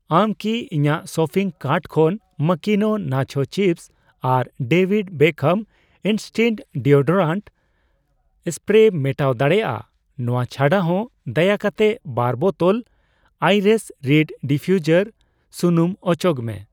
ᱟᱢ ᱠᱤ ᱤᱧᱟᱜ ᱥᱚᱯᱤᱝ ᱠᱟᱨᱴ ᱠᱷᱚᱱ ᱢᱟᱠᱤᱱᱳ ᱱᱟᱪᱦᱳ ᱪᱤᱯᱥ ᱟᱨ David Beckham instinct deodorant spray ᱢᱮᱴᱟᱣ ᱫᱟᱲᱮᱭᱟᱜᱼᱟ? ᱱᱚᱣᱟ ᱪᱷᱟᱰᱟᱦᱚ ᱫᱟᱭᱟ ᱠᱟᱛᱮ ᱵᱟᱨ ᱵᱚᱛᱚᱞ ᱟᱭᱟᱨᱟᱭᱮᱥ ᱨᱤᱰ ᱰᱤᱯᱷᱤᱭᱩᱡᱟᱨ ᱥᱩᱱᱩᱢ ᱚᱪᱚᱜ ᱢᱮ ᱾